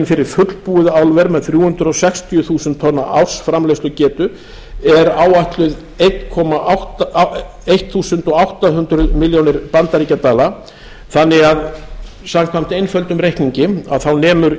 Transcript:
fyrir fullbúið álver með þrjú hundruð sextíu þúsund tonna ársframleiðslugetu er áætluð átján hundruð milljónir bandaríkjadala þannig að samkvæmt einföldum reikningi nemur